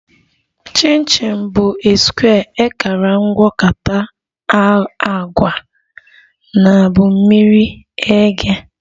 Chin chin bụ a square ekara mgwakota agwa na bụ miri eghe